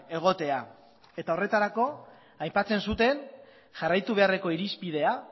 egotea eta horretarako aipatzen zuten jarraitu beharreko irizpidea